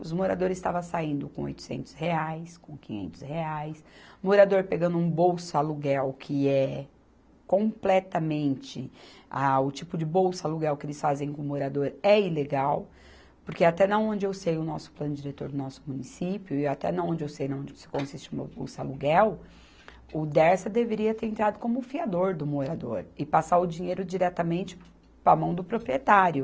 Os moradores estava saindo com oitocentos reais, com quinhentos reais, morador pegando um bolsa aluguel que é completamente, ah, o tipo de bolsa aluguel que eles fazem com o morador é ilegal, porque até na onde eu sei o nosso Plano Diretor do nosso município e até na onde eu sei, consiste o bolsa aluguel, o Dersa deveria ter entrado como fiador do morador e passar o dinheiro diretamente para a mão do proprietário.